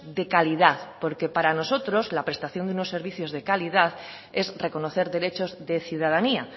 de calidad porque para nosotros la prestación de unos servicios de calidad es reconocer derechos de ciudadanía